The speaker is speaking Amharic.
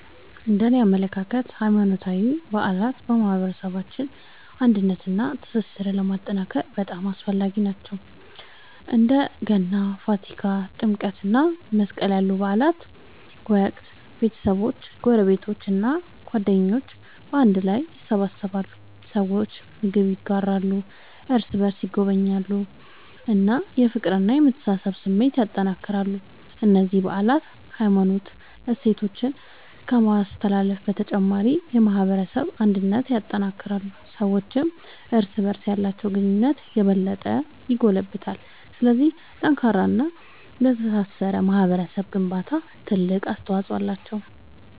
እነደኔ አመለካከት ሃይማኖታዊ በዓላት በማህበረሰባችን አንድነትንና ትስስርን ለማጠናከር በጣም አስፈላጊ ናቸው። በእንደ ገና፣ ፋሲካ፣ ጥምቀት እና መስቀል ያሉ በዓላት ወቅት ቤተሰቦች፣ ጎረቤቶች እና ጓደኞች በአንድ ላይ ይሰበሰባሉ። ሰዎች ምግብ ይጋራሉ፣ እርስ በርስ ይጎበኛሉ እና የፍቅርና የመተሳሰብ ስሜትን ያጠናክራሉ። እነዚህ በዓላት የሃይማኖት እሴቶችን ከማስተላለፍ በተጨማሪ የማህበረሰብ አንድነትን ያጠናክራሉ። ሰዎችም እርስ በርስ ያላቸውን ግንኙነት የበለጠ ያጎለብታሉ። ስለዚህ ለጠንካራና ለተሳሰረ ማህበረሰብ ግንባታ ትልቅ አስተዋጽኦ አላቸው።